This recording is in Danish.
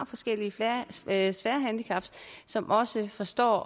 forskellige svære svære handicap som også forstår